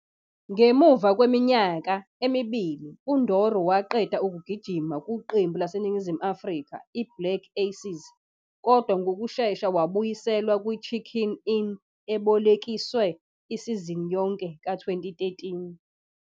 Ngemuva kweminyaka emibili, uNdoro waqeda ukugijima kuqembu laseNingizimu Afrika iBlack Aces kodwa ngokushesha wabuyiselwa kuChicken Inn ebolekiswe isizini yonke ka-2013.